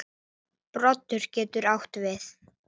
Komist á bragðið